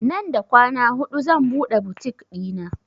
Nan da kwana hudu zan buɗe butik ɗina